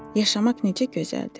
Yaşamaq necə gözəldir.